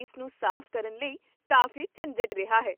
ਇਸ ਨੂੰ ਸਾਫ਼ ਕਰਨ ਲਈ ਕਾਫ਼ੀ ਝੰਜਟ ਰਿਹਾ ਹੈ